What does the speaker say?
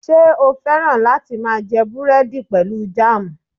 Ṣe o fẹ́ràn lati máa jẹ búrẹ́dì pẹlu jam?